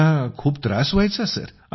मुलांना तर खूपच त्रास व्हायचा